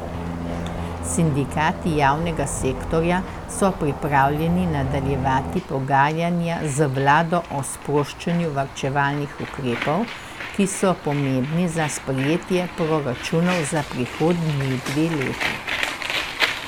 Sindikati javnega sektorja so pripravljeni nadaljevati pogajanja z vlado o sproščanju varčevalnih ukrepov, ki so pomembni za sprejetje proračunov za prihodnji dve leti.